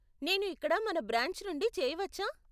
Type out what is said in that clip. నేను ఇక్కడ మన బ్రాంచ్ నుండి చేయవచ్చా?